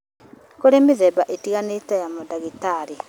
Nĩ kũrĩ mĩthemba ĩtiganĩte ya mandagĩtarĩ